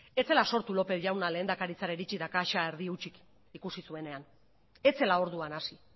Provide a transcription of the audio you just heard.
ez zela sortu lópez jauna lehendakaritzara iritsi eta kaxa erdi hutsik ikusi zuenean ez zela orduan hasi